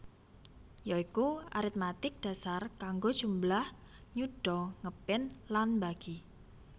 Ya iku aritmatik dasar kanggo njumlah nyuda ngepin lan mbagi